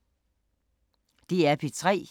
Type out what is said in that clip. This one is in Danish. DR P3